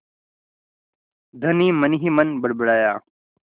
धनी मनहीमन बड़बड़ाया